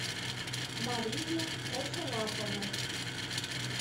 марию косолапову